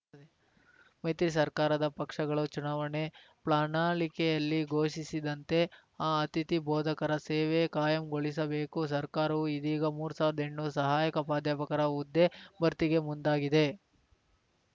ಮೈತ್ರಿ ಸರ್ಕಾರದ ಪಕ್ಷಗಳು ಚುನಾವಣೆ ಪ್ರಣಾಳಿಕೆಯಲ್ಲಿ ಘೋಷಿಸಿದ್ದಂತೆ ಅತಿಥಿ ಬೋಧಕರ ಸೇವೆ ಕಾಯಂಗೊಳಿಸಬೇಕು ಸರ್ಕಾರವು ಇದೀಗ ಮೂರು ಸಾವಿರ್ದ ಎಂಟ್ನೂರು ಸಹಾಯಕ ಪ್ರಾಧ್ಯಾಪಕರ ಹುದ್ದೆ ಭರ್ತಿಗೆ ಮುಂದಾಗಿದೆ